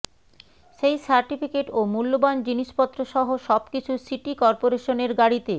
সেই সার্টিফিকেট ও মূল্যবান জিনিসপত্রসহ সবকিছু সিটি করপোরেশনের গাড়িতে